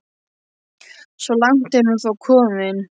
Svo langt er hún þó komin.